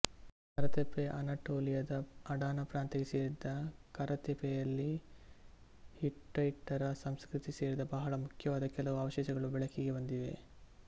Karatepe ಅನಟೋಲಿಯದ Adana ಪ್ರಾಂತ್ಯಕ್ಕೆ ಸೇರಿದ ಕರತೆಪೆಯಲ್ಲಿ ಹಿಟ್ಟೈಟರ ಸಂಸ್ಕೃತಿಗೆ ಸೇರಿದ ಬಹಳ ಮುಖ್ಯವಾದ ಕೆಲವು ಅವಶೇಷಗಳು ಬೆಳಕಿಗೆ ಬಂದಿವೆ